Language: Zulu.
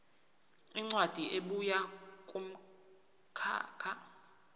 incwadi ebuya kumkhakha